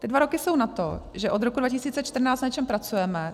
Ty dva roky jsou na to, že od roku 2014 na něčem pracujeme.